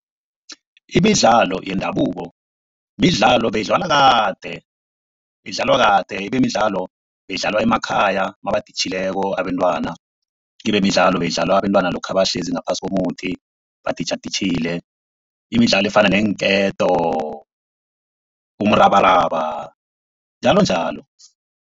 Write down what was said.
Imidlalo yendabuko, midlalo beyidlalwa kade. Beyidlalwa kade ibimidlalo beyidlalwa emakhaya nabaditjhileko abentwana. Kelemidlalo beyidlalwa abentwana lokha nabahlezi ngaphasi komuthi baditjhaditjhile imidlalo efana neenketo, umrabaraba njalonjalo.